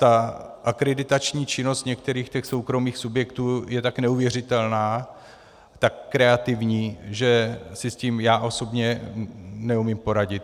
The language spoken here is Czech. Ta akreditační činnost některých těch soukromých subjektů je tak neuvěřitelná, tak kreativní, že si s tím já osobně neumím poradit.